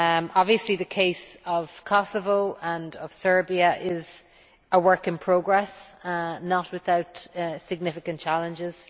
Obviously the case of Kosovo and of Serbia is a work in progress, not without significant challenges.